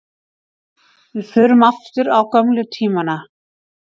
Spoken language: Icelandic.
Við förum aftur á gömlu tímana.